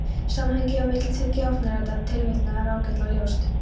Samhengið á milli tveggja ofanritaðra tilvitnana er ágætlega ljóst.